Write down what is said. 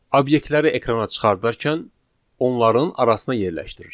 Obyektləri ekrana çıxardarkən onların arasına yerləşdirir.